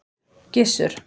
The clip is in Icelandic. Gissur